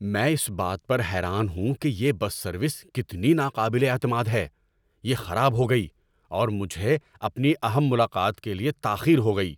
‏میں اس بات پر حیران ہوں کہ یہ بس سروس کتنی ناقابل اعتماد ہے۔ یہ خراب ہو گئی، اور مجھے اپنی اہم ملاقات کے لیے تاخیر ہو گئی۔